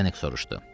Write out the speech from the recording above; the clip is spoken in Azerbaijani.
Zdenek soruşdu.